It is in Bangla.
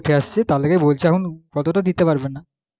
উঠে এসেছি তার লেগেই বলছি এখন অতটা দিতে পারবেনা